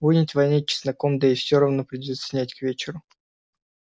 будет вонять чесноком да и все равно придётся снять к вечеру